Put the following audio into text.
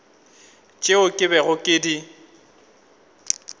tšeo ke bego ke di